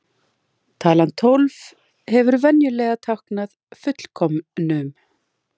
Talan tólf hefur venjulega táknað fullkomnum.